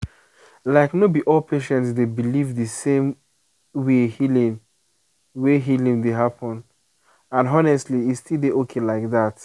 like no be all patients dey believe the same way healing way healing dey happen and honestly e still dey okay like that.